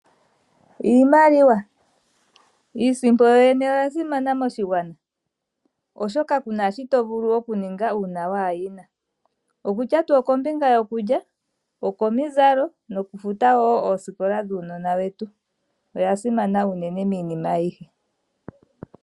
Iimaliwa. Iisimpo yoyene oyasimana moshigwana oshoka kuna shi tovulu okuninga uuna waayina. Okutya tuu okombinga yokulya, okomizalo nokufuta woo oosikola dhuunona wetu . Oyasimana unene miinima aihe.